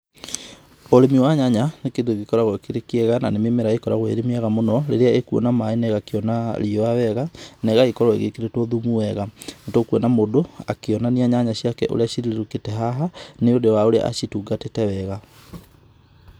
Ũrĩmi wa nyanya nĩ kĩndũ gĩkoragũo kĩrĩ kĩega na nĩ mĩmera ĩkoragũo ĩrĩ mĩega mũno rĩrĩa ĩkuona maĩ na ĩgakĩona riũwa wega, na ĩgagĩkorũo ĩkĩrĩtũo thumu wega. Nĩ tũkũona mũndũ, akĩonania nyanya ciake ũrĩa cirirũkĩte haha nĩ ũndũ wa ũrĩa acitungatĩte wega.